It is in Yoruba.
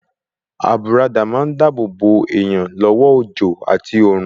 Àbùradà má ń dá ààbò bo èèyàn lọ́wọ́ òjò àti òòrùn.